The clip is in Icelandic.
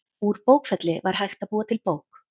Úr bókfelli var hægt að búa til bók.